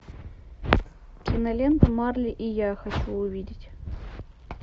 кинолента марли и я хочу увидеть